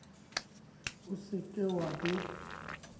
o se ke wa be